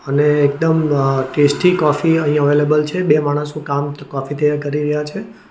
અને એકદમ અહ ટેસ્ટી કોફી અહીં અવેલેબલ છે બે માણસો કામ કોફી તૈયાર કરી રહ્યા છે.